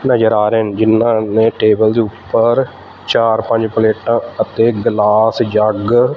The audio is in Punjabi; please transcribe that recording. ਨਜ਼ਰ ਆ ਰਹੇ ਨ ਜਿੰਨਾਂ ਨੇ ਟੇਬਲ ਦੇ ਉਪਰ ਚਾਰ ਪੰਜ ਪਲੇਟਾਂ ਅਤੇ ਗਲਾਸ ਜੱਗ --